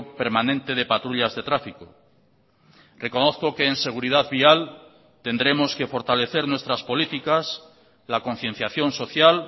permanente de patrullas de tráfico reconozco que en seguridad vial tendremos que fortalecer nuestras políticas la concienciación social